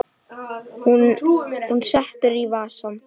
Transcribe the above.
Það er kona sem svarar.